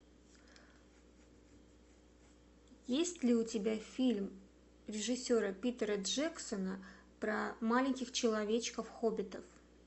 есть ли у тебя фильм режиссера питера джексона про маленьких человечков хоббитов